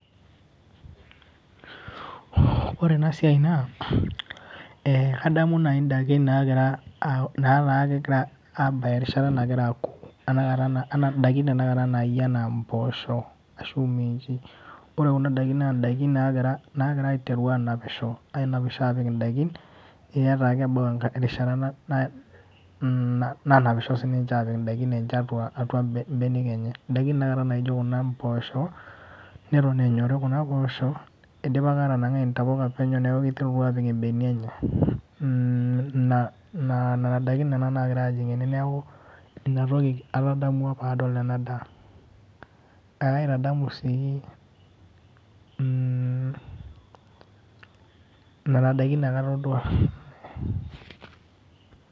Ore enasiai naa, kadamu nai daikin nagira netaa kegira abaya erishata nagira aku. Tanakata idaikin tanakata nayia enaa impoosho ashu minchi. Ore kuna daikin naa daikin nagira aiteru anapisho, anapisho anap idaikin, eta kebau erishata nanapisho sininche apik idaikin enche apik atua ibenek enye. Idaikin tanakata naijo kuna mpoosho, neton enyori kuna poosho, idipa atanang'ai intapuka enye neeku kiterutua apik ibenia enye. Ina nana daikin nena nagira ajing' ene neeku, inatoki atadamua padol enadaa. Ekaitadamu si, nena daikin nanu atodua.